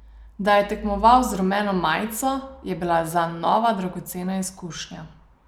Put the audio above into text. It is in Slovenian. Da je tekmoval z rumeno majico, je bila zanj nova dragocena izkušnja.